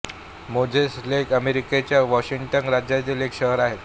Moses Lake हे अमेरिकेच्या Washington राज्यातील एक शहर आहे